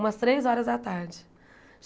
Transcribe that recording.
Umas três horas da tarde.